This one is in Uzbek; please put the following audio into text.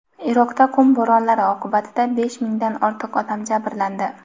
Iroqda qum bo‘ronlari oqibatida besh mingdan ortiq odam jabrlandi.